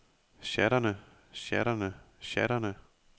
sjatterne sjatterne sjatterne